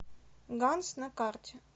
ганс на карте